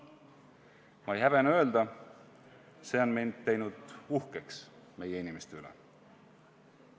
Ma ei häbene öelda, see on mind teinud uhkeks meie inimeste üle.